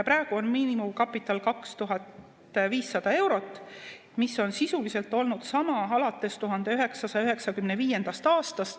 Praegu on miinimumkapital 2500 eurot, mis on sisuliselt olnud sama alates 1995. aastast.